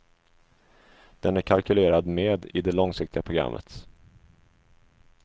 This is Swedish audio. Den är kalkylerad med i det långsiktiga programmet.